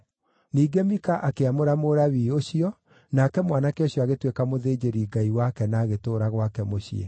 Ningĩ Mika akĩamũra Mũlawii ũcio, nake mwanake ũcio agĩtuĩka mũthĩnjĩri-ngai wake na agĩtũũra gwake mũciĩ.